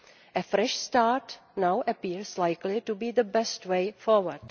A fresh start now appears likely to be the best way forward.